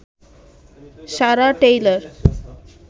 Sarah Taylor